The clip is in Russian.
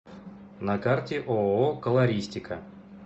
на карте ооо колористика